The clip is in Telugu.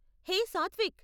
హే సాత్విక్!